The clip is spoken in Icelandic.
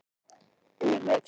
Tungumálið er ágætt dæmi.